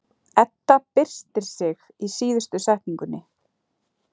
Edda byrstir sig í síðustu setningunni.